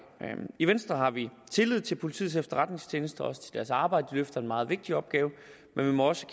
i venstre har vi tillid til politiets efterretningstjeneste og også til deres arbejde de løfter en meget vigtig opgave men vi må også